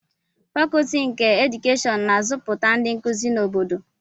Fakọọti nke Edukeshịon na-azụpụta ndị nkuzi na obodo